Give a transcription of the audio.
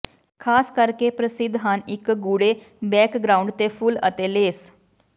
ਖਾਸ ਕਰਕੇ ਪ੍ਰਸਿੱਧ ਹਨ ਇੱਕ ਗੂੜ੍ਹੇ ਬੈਕਗ੍ਰਾਉਂਡ ਤੇ ਫੁੱਲ ਅਤੇ ਲੇਸ